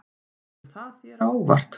Kemur það þér á óvart?